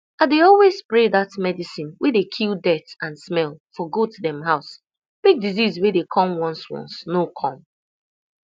i dey always spray that medicine wey dey kill dirt and smell for goat dem house make disease wey dem come once once no come